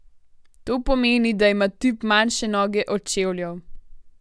To pomeni, da ima tip manjše noge od čevljev.